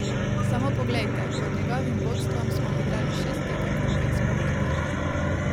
Samo poglejte, pod njegovim vodstvom smo odigrali šest tekem in pet smo jih dobili.